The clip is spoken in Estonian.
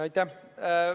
Aitäh!